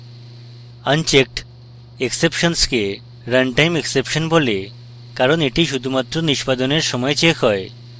unchecked exceptions কে runtime exception বলে কারণ এটি শুধুমাত্র নিষ্পাদনের সময় checked হয়